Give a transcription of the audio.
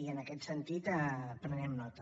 i en aquest sentit en prenem nota